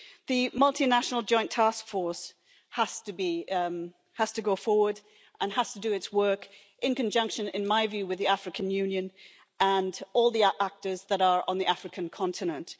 The Multinational Joint Task Force has to go forward and has to do its work in conjunction, in my view, with the African Union and all the actors that are on the African continent.